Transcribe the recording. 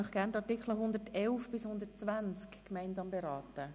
Gerne möchte ich die Artikel 111–120 gemeinsam beraten.